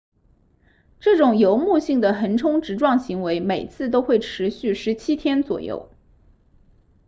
这种游牧性的横冲直撞行为每次都会持续17天左右